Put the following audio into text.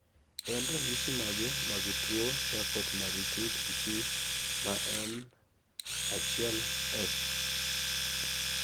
en ranyisi mage mag tuo Charcoat Marie tooth disease ma en 1F